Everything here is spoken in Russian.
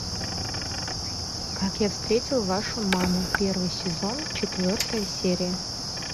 как я встретил вашу маму первый сезон четвертая серия